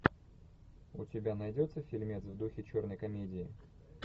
у тебя найдется фильмец в духе черной комедии